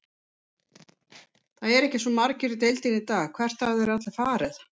Það eru ekki svo margir í deildinni í dag, hvert hafa þeir allir farið?